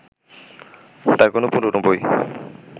তাঁর কোনো পুরোনো বই